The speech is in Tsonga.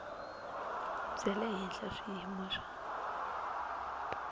bya le henhla swiyimo swa